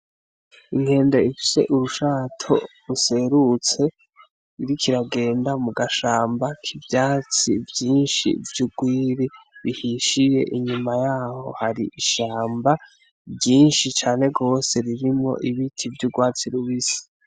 Inkende ifise urushato ruserutse iriko iragenda mu gashamba k'ivyatsi vyinshi vy'ugwiri bihishiye, inyuma yaho hari ishamba ryinshi cane gwose ririmwo ibiti vy'urwatsi rubisi.